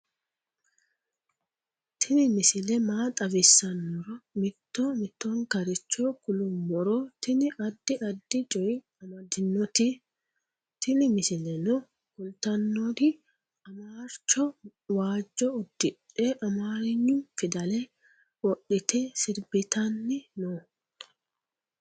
tini misile maa xawissannoro mito mittonkaricho kulummoro tini addi addicoy amaddinote tini misileno kultannori amarcho waajjo uddidhe amarenyu fidale wodhite sirbitanni no